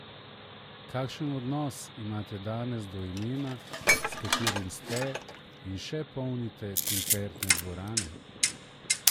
Kakšen odnos imate danes do imena, s katerim ste in še polnite koncertne dvorane?